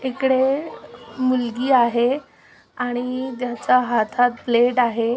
इकडे मुलगी आहे आणि त्याचा हातात आहे.